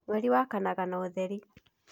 Mweri wakanaga na ũtheri.